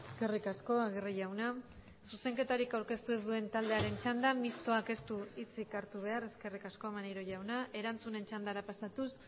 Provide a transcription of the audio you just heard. eskerrik asko agirre jauna zuzenketarik aurkeztu ez duen taldearen txanda mistoak ez du hitzik hartu behar eskerrik asko maneiro jauna erantzunen txandara pasatuz